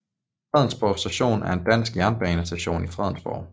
Fredensborg Station er en dansk jernbanestation i Fredensborg